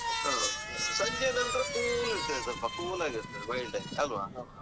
ಆ ಸಂಜೆ ನಂತ್ರ cool ಇರ್ತದೆಸ್ವಲ್ಪ cool ಆಗಿರ್ತದೆ mild ಆಗಿ ಅಲ್ವ?